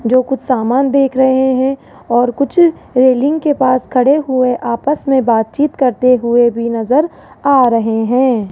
जो कुछ सामान देख रहे हैं और कुछ रेलिंग के पास खड़े हुए आपस में बातचीत करते हुए भी नजर आ रहे हैं।